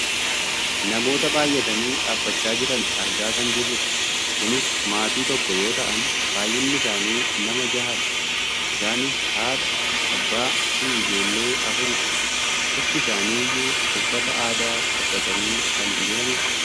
namoota baayyatanii dhaabbachaa jiran argaa kan jirrudha. kunis maatii tokko yoo ta'an baayyinni isaanii nama jahadha. isaanis haadha , abbaa fi ijoollee afuridha. cufti isaanii iyyuu uffata aadaa uffatanii kan jiranidha.